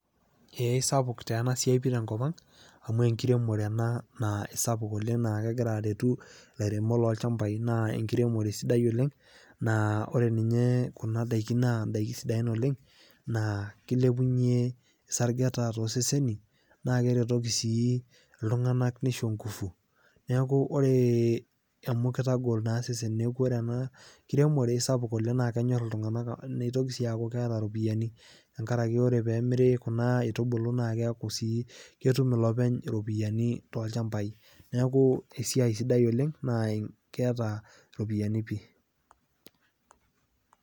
Eh, sapuk taa ena siai tenkop ang' amu enkiremore ena naa sapuk oleng naa kegira aretu ilairemok loolchambai, naa enkiremore sidai oleng naa ore ninye kuna daiki naa indaiki sidain oleng naa keilepunye sargeta tooseseni naa keretoki sii iltung'ana neisho inguvu, neaku ore, amu keitagol naa iseseni neaku ore ena kiremore, isapuk oleng, naa kenyor iltung'ana, neitoki sii aaku keata iropiani, tenkarake ore pee emiri kuna aitubulu naa keaku sii ketum iloopeny iropiani tolchambai. Neaku esiai sidai oleng, naa keata iropiani pii.